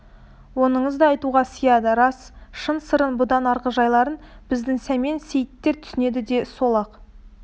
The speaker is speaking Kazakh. оныңыз да айтуға сыяды рас шын сырын бұдан арғы жайларын біздің сәмен сейіттер түсінеді деді сол-ақ